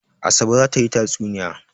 Asabe za ta yi tatsuniya.